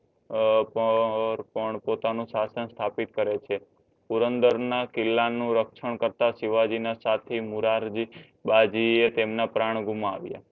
અર પણ અર પણ પોતાનો સાસન સ્તાપીથ કરે છે. પુરનંદર ના કિલ્લા નું રક્ષણ કરતાં શિવજી ના સથી મુરારજી તેમના પરં ઘુમાવ્યા